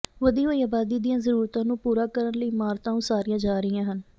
ਵਧੀ ਹੋਈ ਆਬਾਦੀ ਦੀਆਂ ਜ਼ਰੂਰਤਾਂ ਨੂੰ ਪੂਰਾ ਕਰਨ ਲਈ ਇਮਾਰਤਾਂ ਉਸਾਰੀਆਂ ਜਾ ਰਹੀਆਂ ਹਨ